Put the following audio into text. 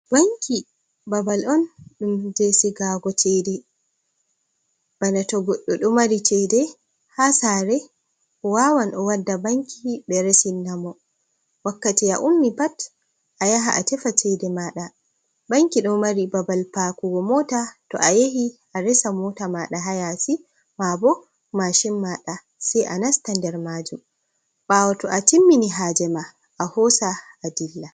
Banki babal on ɗum je sigago cede, Bana tou goɗɗo do mari cede ha sare wawan o wadda banki ɓe resinamo, wakkati a ummi pat a yaha a tefa cede maɗa. Banki ɗo mari babal pakuko mota to a yahi a resa mota maɗa ha yasi mabo mashin maɗa sai a nasta nder majun, bawo tow atimmini hajema ɗa a hosa adilla.